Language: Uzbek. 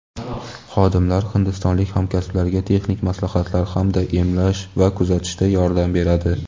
xodimlar hindistonlik hamkasblariga texnik maslahatlar hamda emlash va kuzatishda yordam beradi.